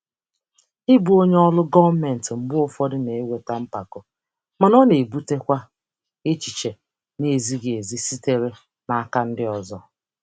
Ịbụ onye ọrụ gọọmentị mgbe ụfọdụ na-eweta mpako, mana ọ na-ebutekwa echiche na-ezighị ezi sitere n'aka ndị ọzọ.